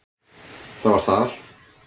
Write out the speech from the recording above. Það var þar.